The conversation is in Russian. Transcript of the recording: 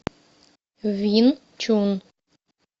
вин чун